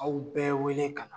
Aw bɛɛ wele ka na